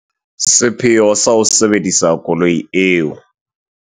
Sepheo sa ho sebedisa koloi eo.